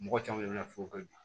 Mɔgɔ caman de bɛ na fɔ ka ɲa